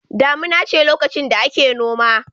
Damuna ce lokacin da ake noma.